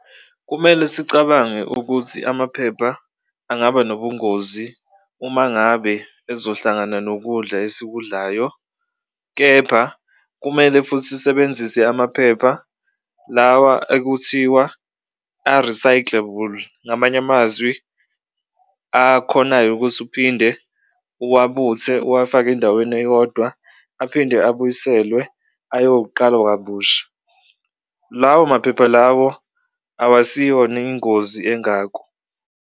Kumele sicabange ukuthi amaphepha angaba nobungozi uma ngabe ezohlangana nokudla esikudlayo kepha kumele futhi sisebenzise amaphepha lawa ekuthiwa a-recyclable, ngamanye amazwi akhonayo ukuthi uphinde uwabuthe, uwafake endaweni eyodwa aphinde abuyiselwe ayoqalwa kabusha. Lawo maphepha lawo awasiyona ingozi engako.